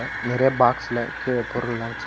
நெறய பாக்ஸ்ல கீழ பொருள்லாம் வச்சி.